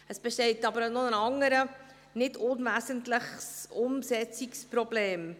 Es besteht aber noch ein anderes, nicht unwesentliches Umsetzungsproblem.